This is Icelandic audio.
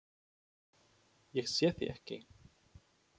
Ég sé þig ekki.